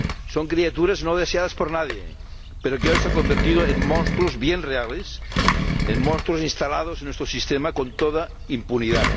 Son criaturas no deseadas por nadie, pero que hoy se han convertido en monstruos bien reales, en monstruos instalados en nuestro sistema con toda impunidad.